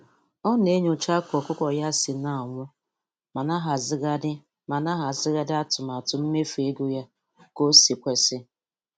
Ọ na-enyocha ka ọkụkọ ya si na-anwụ ma na-ahazigharị ma na-ahazigharị atụmatụ mmefu ego ya ka o si kwesị.